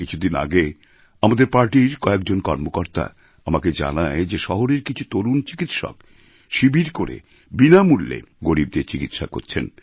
কিছুদিন আগে আমার পার্টির কয়েকজন কর্মকর্তা আমাকে জানায় যে শহরের কিছু তরুণ চিকিৎসক শিবির করে বিনামূল্যে গরীবদের চিকিৎসা করছেন